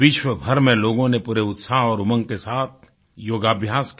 विश्वभर में लोगों ने पूरे उत्साह और उमंग के साथ योगाभ्यास किया